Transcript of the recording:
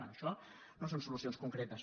bé això no són solucions concretes